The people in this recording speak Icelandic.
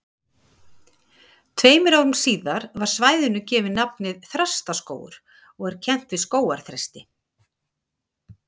Tveimur árum síðar var svæðinu gefið nafnið Þrastaskógur og kennt við skógarþresti.